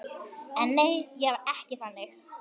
En nei, var ekki þannig.